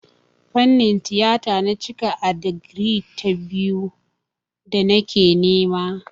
Fannin tiyata na cika a digiri ta biyu da nake nema.